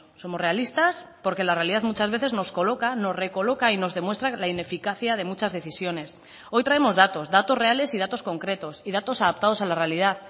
somos realistas porque la realidad muchas veces nos coloca nos recoloca y nos demuestra la ineficacia de muchas decisiones hoy traemos datos datos reales y datos concretos y datos adaptados a la realidad